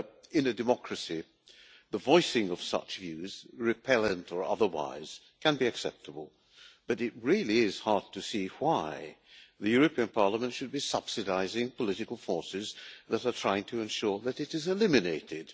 In a democracy the voicing of such views, repellent or otherwise, can be acceptable but it really is hard to see why the European Parliament should be subsidising political forces that are trying to ensure that it is eliminated.